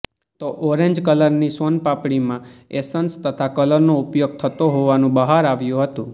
તો ઓરેન્જ કલરની સોનપાપડીમાં એસન્સ તથા કલરનો ઉપયોગ થતો હોવાનું બહાર આવ્યું હતું